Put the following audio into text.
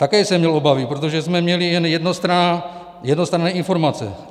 Také jsem měl obavy, protože jsme měli jen jednostranné informace.